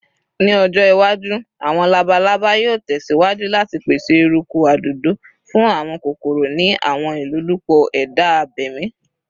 Ni ojo iwaju, awọn labalaba yoo tẹsiwaju lati pese eruku adodo fun awọn kokoro ni awọn ilolupo eda abemi.